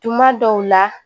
Tuma dɔw la